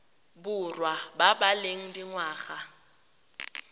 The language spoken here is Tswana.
borwa ba ba leng dingwaga